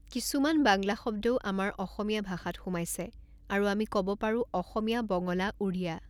কিছুমান বাংলা শব্দও আমাৰ অসমীয়া ভাষাত সোমাইছে আৰু আমি ক'ব পাৰোঁ অসমীয়া বঙলা উৰিয়া